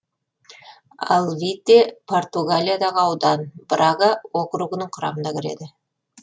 алвите португалиядағы аудан брага округінің құрамына кіреді